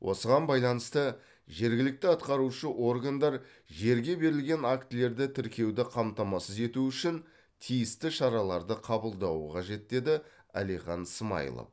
осыған байланысты жергілікті атқарушы органдар жерге берілген актілерді тіркеуді қамтамасыз ету үшін тиісті шараларды қабылдауы қажет деді әлихан смайылов